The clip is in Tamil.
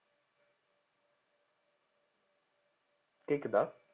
கேக்குதா